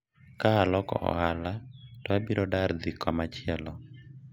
ka aloko ohala to abiro dar dhi kamachielo